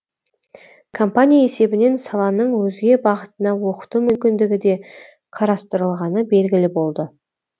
компания есебінен саланың өзге бағытына оқыту мүмкіндігі де қарастырылғаны белгілі болды